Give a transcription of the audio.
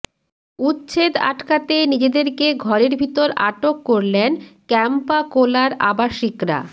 উচ্ছেদ আটকাতে নিজেদেরকে ঘরের ভিতর আটক করলেন ক্যাম্পা কোলার আবাসিকরা